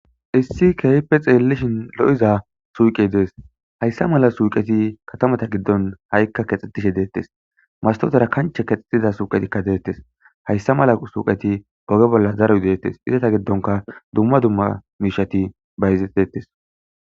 issi kehhipe xeelishin lo7iza suuqe dees hayssa mala suuqeti katamata giddon ha7ikka kexxetishe deettes mastotera kanche kexxetida suuqetikka deettes hayssa mala suuqeti oge bolla zaruy deettes izata giddonka dumma dumma miishati bayizetettes